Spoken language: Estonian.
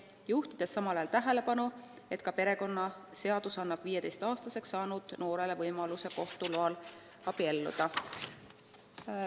Ta juhtis tähelepanu sellele, et perekonnaseadus annab 15-aastaseks saanud noorele võimaluse kohtu loal abielluda.